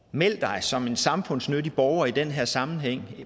meld dig som en samfundsnyttig borger i den her sammenhæng